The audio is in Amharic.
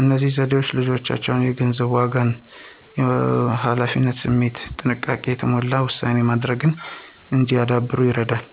እነዚህ ዘዴዎች ልጆች የገንዘብን ዋጋ፣ የኃላፊነት ስሜትና ጥንቃቄ የተሞላበት ውሳኔ ማድረግ እንዲያዳብሩ ይረዳሉ።